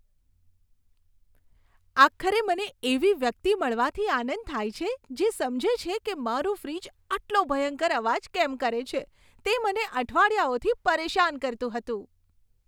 આખરે મને એવી વ્યક્તિ મળવાથી આનંદ થાય છે જે સમજે છે કે મારું ફ્રિજ આટલો ભયંકર અવાજ કેમ કરે છે, તે મને અઠવાડિયાઓથી પરેશાન કરતું હતું.